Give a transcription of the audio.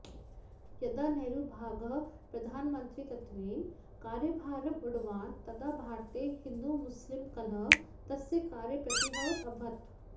यदा नेहरुमहाभागः प्रधानमन्त्रित्वेन कार्यभारम् ऊढवान् तदा भारते हिन्दूमुस्लिं कलहः तस्य कार्ये प्रत्यूहवत् अभवत्